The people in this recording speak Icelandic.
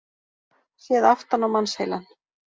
Séð aftan á mannsheilann.